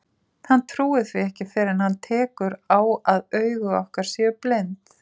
Hann trúir því ekki fyrr en hann tekur á að augu okkar séu blind.